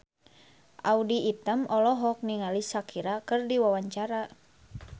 Audy Item olohok ningali Shakira keur diwawancara